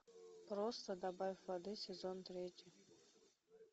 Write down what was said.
просто добавь воды сезон третий